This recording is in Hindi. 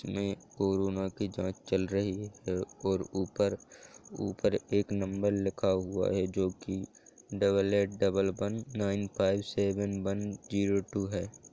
उसमे कोरोना का जांच चल रही है और ऊपर ऊपर एक नंबर लिखा हुआ है जोकि डबल आठ double one nine five seven one zero two है।